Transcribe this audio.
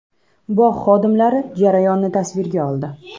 Bog‘ xodimlari jarayonni tasvirga oldi.